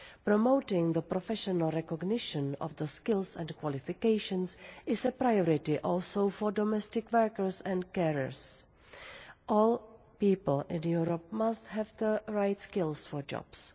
Promoting the professional recognition of skills and qualifications is also a priority for domestic workers and carers. All people in Europe must have the right skills for jobs.